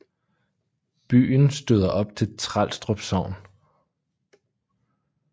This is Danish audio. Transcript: Byen stoder op til Trelstrup Sogn